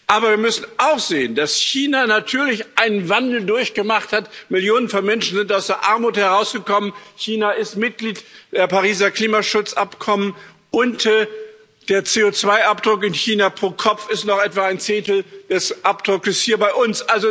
Aber wir müssen auch sehen, dass China natürlich einen Wandel durchgemacht hat Millionen von Menschen sind aus der Armut herausgekommen, China ist Mitglied des Pariser Klimaschutzabkommens, und der CO2 Abdruck in China pro Kopf ist noch etwa ein Zehntel des Abdrucks hier bei uns.